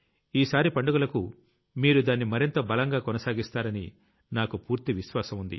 ఈసారి పండుగలకు మీరు దాన్ని మరింత బలంగాకొనసాగిస్తారని నాకు పూర్తి విశ్వాసం ఉంది